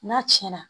N'a tiɲɛna